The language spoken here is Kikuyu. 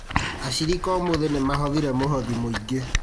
Ashirika ũmũthĩ nĩmahothire mũhothi mũingĩ